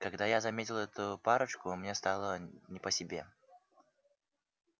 когда я заметил эту парочку мне стало не по себе